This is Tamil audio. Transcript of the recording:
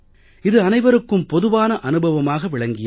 இது அனைவருக்கும் பொதுவான அனுபவமாக விளங்கியது